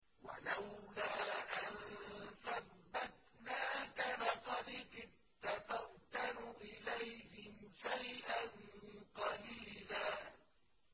وَلَوْلَا أَن ثَبَّتْنَاكَ لَقَدْ كِدتَّ تَرْكَنُ إِلَيْهِمْ شَيْئًا قَلِيلًا